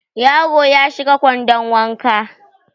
Yaro ya shiga kwandon wanka